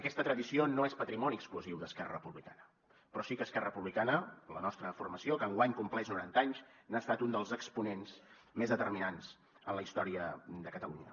aquesta tradició no és patrimoni exclusiu d’esquerra republicana però sí que esquerra republicana la nostra formació que enguany compleix noranta anys n’ha estat un dels exponents més determinants en la història de catalunya